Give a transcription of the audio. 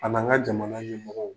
A n'an ka jamana ɲɛmɔgɔw.